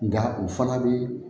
Nka o fana bɛ